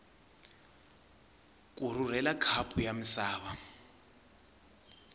ku rhurhela khapu ya misava